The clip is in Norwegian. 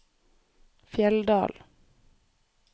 Fjelldal